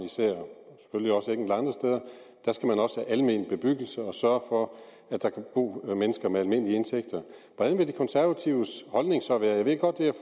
steder skal man også have almen bebyggelse og sørge for at der kan bo mennesker med almindelige indtægter hvordan vil de konservatives holdning så være jeg ved godt det er